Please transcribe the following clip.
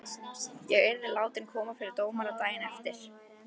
Ég yrði síðan látin koma fyrir dómara daginn eftir.